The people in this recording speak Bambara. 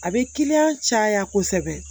A bɛ kiliyan caya kosɛbɛ